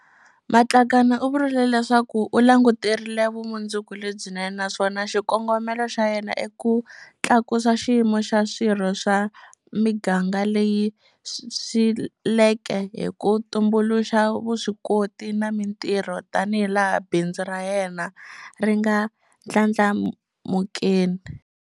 Matlakane u vurile leswaku u languterile vumundzuku lebyinene naswona xikongomelo xa yena i ku tlakusa xiyimo xa swirho swa miganga leyi sweleke hi ku tumbuluxa vuswikoti na mitirho tanihilaha bindzu ra yena ri nga ndlandlamukeni.